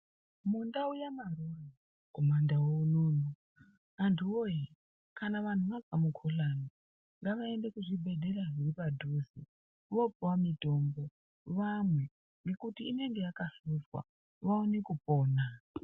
Mundau ya maroro ku mandu unono antu woye kana vantu vazwa mu kuhlani ngava ende ku zvibhedhlera zviri padhuze vopuwa mitombo vamwe nekuti inonge yaka hlozwa vaone kupona .